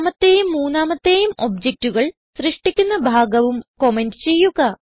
രണ്ടാമത്തേയും മൂന്നാമത്തെയും objectകൾ സൃഷ്ടിക്കുന്ന ഭാഗവും കമന്റ് ചെയ്യുക